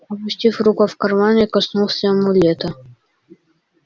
опустив руку в кармане я коснулся амулета